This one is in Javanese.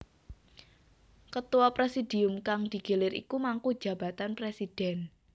Ketua presidium kang digilir iku mangku jabatan presidhèn